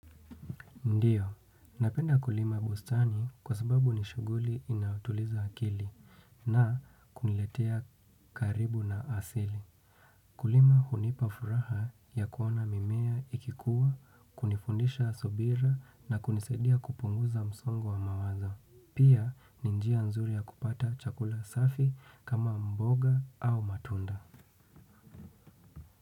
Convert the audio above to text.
Ndiyo, napenda kulima bustani kwa sababu ni shughuli inayotuliza akili na kuniletea karibu na asili. Kulima hunipa furaha ya kuona mimea ikikua, kunifundisha subira na kunisaidia kupunguza msongo wa mawazo. Pia ni njia nzuri ya kupata chakula safi kama mboga au matunda.